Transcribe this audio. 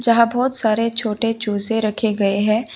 जहां बहुत सारे छोटे छोटे चूजे रखे गए हैं।